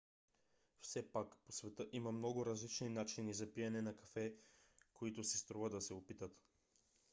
все пак по света има много различни начини за пиене на кафе които си струва да се опитат